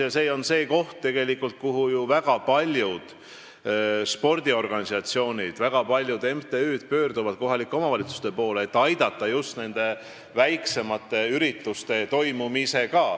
Ja kohalikud omavalitsused on ju tegelikult see koht, kelle poole väga paljud spordiorganisatsioonid ja MTÜ-d pöörduvad, et neid aidataks just väiksemate ürituste korraldamisel.